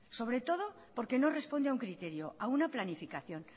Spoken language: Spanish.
sobre todo porque no responde a un criterio a una planificación